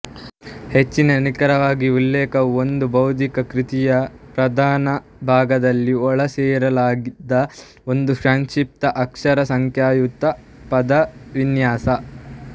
ಹೆಚ್ಚು ನಿಖರವಾಗಿ ಉಲ್ಲೇಖವು ಒಂದು ಬೌದ್ಧಿಕ ಕೃತಿಯ ಪ್ರಧಾನಭಾಗದಲ್ಲಿ ಒಳಸೇರಿಸಲಾದ ಒಂದು ಸಂಕ್ಷಿಪ್ತ ಅಕ್ಷರಸಂಖ್ಯಾಯುಕ್ತ ಪದವಿನ್ಯಾಸ